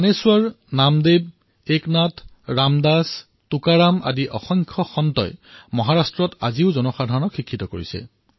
জ্ঞানেশ্বৰ নামদেৱ একনাথ ৰামদাস টুকাৰাম এনে অসংখ্য সন্তই মহাৰাষ্ট্ৰত আজিও জনসাধাৰণক শিক্ষিত কৰে